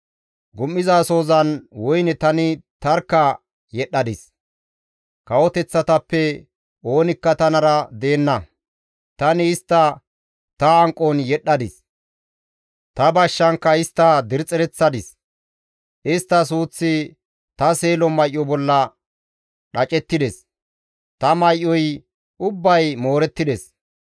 «Gum7izasohozan woyne tani tarkka yedhdhadis; kawoteththatappe oonikka tanara deenna; tani istta ta hanqon yedhdhadis; ta bashshankka istta dirxxereththadis; istta suuththi ta seelo may7o bolla dhacettides; ta may7oy ubbay moorettides.